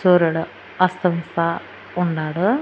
సూరుడు అస్తమిస్తా ఉన్నాడు.